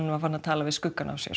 var farinn að tala við skuggann á sér